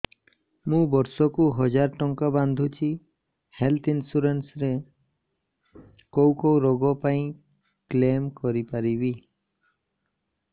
ମୁଁ ବର୍ଷ କୁ ହଜାର ଟଙ୍କା ବାନ୍ଧୁଛି ହେଲ୍ଥ ଇନ୍ସୁରାନ୍ସ ରେ କୋଉ କୋଉ ରୋଗ ପାଇଁ କ୍ଳେମ କରିପାରିବି